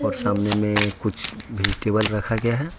सामने में कुछ भी टेबल रखा गया है।